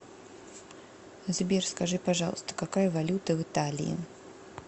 сбер скажи пожалуйста какая валюта в италии